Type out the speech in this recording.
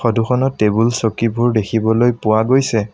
টোখনত টেবুল চকীবোৰ দেখিবলৈ পোৱা গৈছে।